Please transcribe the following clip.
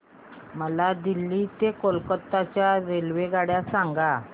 मला दिल्ली ते कोलकता च्या रेल्वेगाड्या सांगा